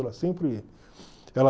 Ela sempre, ela